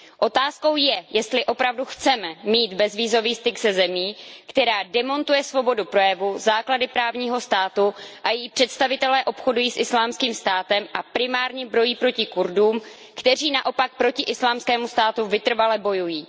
Otázkou je, jestli opravdu chceme mít bezvízový styk se zemí, která demontuje svobodu projevu, základy právního státu a její představitelé obchodují s Islámským státem a primárně brojí proti Kurdům, kteří naopak proti Islámskému státu vytrvale bojují.